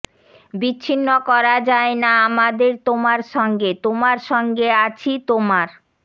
বিচ্ছিন্ন করা যায় না আমাদের তোমার সঙ্গে তোমার সঙ্গে আছি তোমার